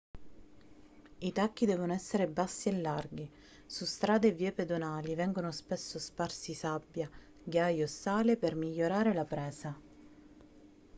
i tacchi devono essere bassi e larghi su strade e vie pedonali vengono spesso sparsi sabbia ghiaia o sale per migliorare la presa